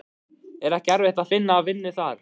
Er ekki erfitt að finna vinnu þar?